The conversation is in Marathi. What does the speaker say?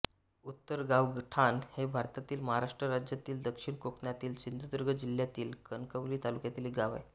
उत्तरगावठाण हे भारतातील महाराष्ट्र राज्यातील दक्षिण कोकणातील सिंधुदुर्ग जिल्ह्यातील कणकवली तालुक्यातील एक गाव आहे